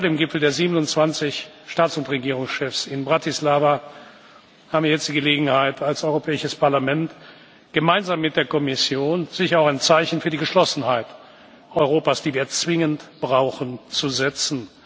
Zwei Tage vor dem Gipfel der 27 Staats und Regierungschefs in Bratislava haben wir jetzt die Gelegenheit, als Europäisches Parlament gemeinsam mit der Kommission sicher auch ein Zeichen für die Geschlossenheit Europas, die wir zwingend brauchen, zu setzen.